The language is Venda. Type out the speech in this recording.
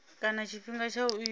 kana tshifhinga tsha u itwa